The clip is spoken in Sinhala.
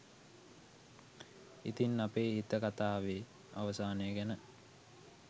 ඉතින් අපේ හිත කතාවේ අවසානය ගැන